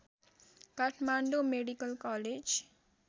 Kathmandu medical college